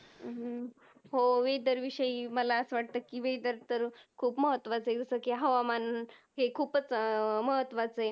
हम्म हो Weather विषयी मला असं वाटत कि Weather तर खूप महत्वाचं आहे जस कि हवामान हे खूपच अं महत्वाच आहे.